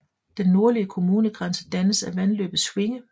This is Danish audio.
Den nordlige kommungrænse dannes af vandløbet Schwinge